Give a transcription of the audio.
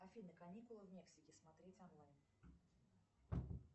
афина каникулы в мексике смотреть онлайн